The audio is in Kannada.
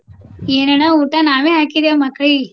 ಏನ್ ಅಣ್ಣ ಊಟ ನಾವ್ ಹಾಕಿದೇವ್ ಮಕ್ಕಳಿಗೆ.